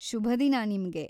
ಶುಭ ದಿನ ನಿಮ್ಗೆ!